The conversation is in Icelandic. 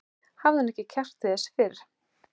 Hafði hún ekki kjark til þess fyrr?